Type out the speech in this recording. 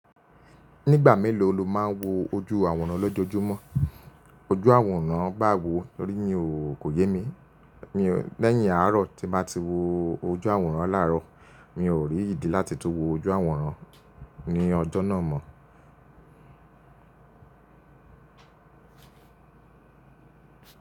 Nígbà mélòó lo máa ń wo ojú àwòrán lójoojúmọ́? Ojú àwòrán bàwo tórí mìò kò yé mi. Lẹ́yìn àárọ̀ tí báa ti wo ojú àwòrán láàárọ̀, mi ò rí ìdí láti tún wo ojú àwòrán ní ọjọ́ náà mọ́